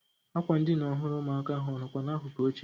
Ákwà ndịna ọhụrụ ụmụaka ahụ ọ nọkwa n'akụkụ oche?